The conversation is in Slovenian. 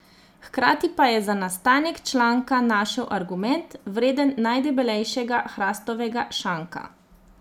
Hkrati pa je za nastanek članka našel argument, vreden najdebelejšega hrastovega šanka.